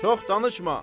Çox danışma.